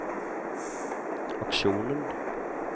aksjonen